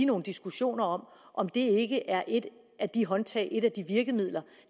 nogle diskussioner om om det ikke er et af de håndtag et af de virkemidler